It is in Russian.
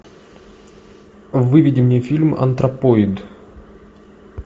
выведи мне фильм антропоид